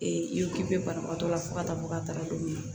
ipe banabagatɔ la fo ka taa bɔ ka taga don min na